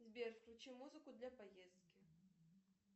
сбер включи музыку для поездки